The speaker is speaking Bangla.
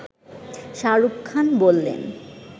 শাহরুখ খান বললেন